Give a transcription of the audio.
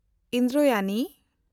Indrayani